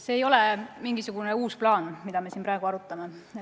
See ei ole mingisugune uus plaan, mida me siin praegu arutame.